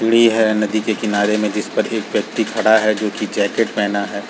सीढ़ी है नदी के किनारे में जिस पर एक व्यक्ति खड़ा है जो की जैकेट पहना है।